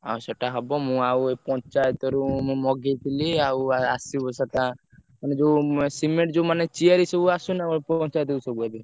ଆଉ ସେଟା ହବ ମୁଁ ଆଉ ପଞ୍ଚାୟତ ରୁ ମୁଁ ମଗେଇଥିଲି ଆଉ ଆସିବ ସେଟା ମାନେ ସେ ଯୋଉ cement ମାନେ ସେ ଯୋଉ ।